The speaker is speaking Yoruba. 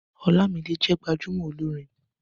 Ọlámidé jẹ́ gbajúmọ̀ olórin